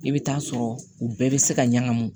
I bɛ taa sɔrɔ u bɛɛ bɛ se ka ɲagamu